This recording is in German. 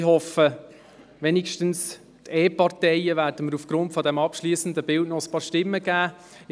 Ich hoffe, dass zumindest einige Parteien mir aufgrund dieses abschliessenden Bildes noch ein paar Stimmen geben.